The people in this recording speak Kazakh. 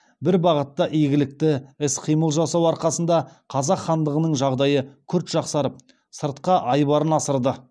бір бағытта игілікті іс қимыл жасау арқасында қазақ хандығының жағдайы күрт жақсарып сыртқа айбарын асырды